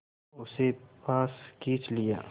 उसे पास खींच लिया